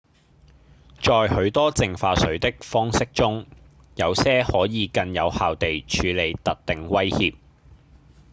在許多淨化水的方式中有些可以更有效地處理特定威脅